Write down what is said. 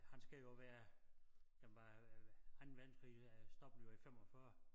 Han skal jo være jamen hvad Anden Verdenskrig øh stoppede jo i 45